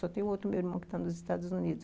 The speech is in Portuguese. Só tem o outro meu irmão que está nos Estados Unidos.